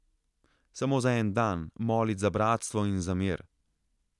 Samo za en dan, molit za bratstvo in za mir.